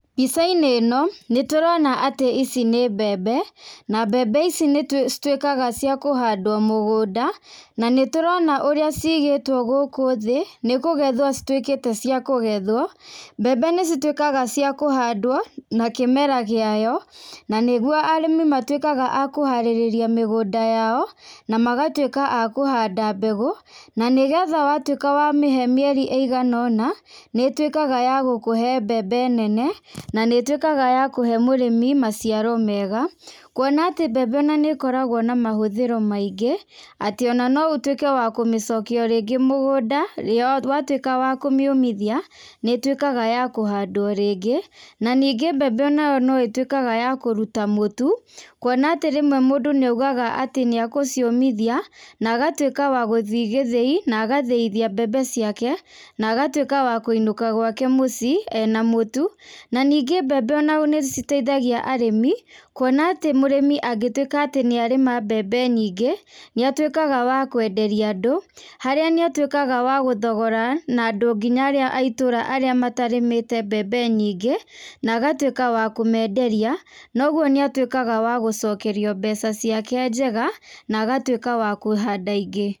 Mbica - inĩ ino, nĩ tũrona atĩ ici nĩ mbembe, na mbembe ici nĩ tũ citwĩkaga cĩa kũhandwo mũgũnda, na nĩ tũrona ũrĩa cigĩtwo gũkũ thĩ, nikũgethwo citwĩkĩte cia kũgethwo, mbembe nĩ citwĩkaga cia kũhandwo, na kĩmera gĩayo na nĩ gwo arĩmi matwĩkaga a kũharĩrĩria mĩgũnda yao, na magatwĩka a kũhanda mbegũ, na nĩgetha wa twĩka wa mĩhe mĩeri ĩgana ũna, nĩ twíĩaga ya gũkũhe mbembe nene na nĩ twĩkaga ya kũhe mũrĩmi maciaro mega, kwona atĩ mbembe na nĩ koragwo na mahũthĩro maingĩ atĩ ona noũtwĩke wa kũmĩcokia rĩngĩ mũgũnda, ria wa twĩka wa kũmĩomithia, nĩ ĩtwĩkaga ya kũhandwo rĩngĩ, na ningĩ mbembe o nayo no ĩtwĩkaga ya kũruta mũtu, kwona atĩ rĩmwe mũndũ nĩ aigaga atĩ nĩ e gũciũmithia, na agatwĩka wa gũthiĩ gĩthĩi, na gathĩithia mbembe ciake, na agatwĩka wa kwĩnũka gwake mũciĩ ena mũtu, na ningĩ mbembe ona nĩ citeithagia arĩmi, kwona atĩ mũrĩmi angĩtwĩka atĩ nĩ arĩma mbembe nyingĩ, nĩ atwĩkaga wa kwenderia andũ, haria nĩ atwĩkaga wa gũthogora na andũ nginya aria a itũra arĩa matarĩmĩte mbembe nyingĩ, na agatwĩka wa kũmenderia, noguo nĩ atwĩkaga wa gũcokerio mbeca ciake njega, na agatwĩka wa kũhanda ingĩ.